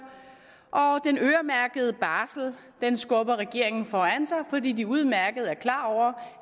og den øremærkede barsel skubber regeringen foran sig fordi den udmærket er klar over